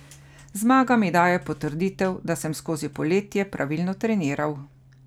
Zmaga mi daje potrditev, da sem skozi poletje pravilno treniral.